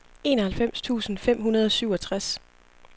enoghalvfems tusind fem hundrede og syvogtres